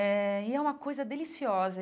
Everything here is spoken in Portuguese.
Eh e é uma coisa deliciosa.